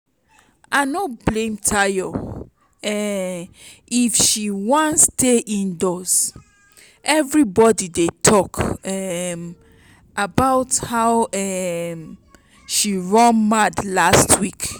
i no blame tayo um if she wan stay indoors everybody dey talk um about how um she run mad last week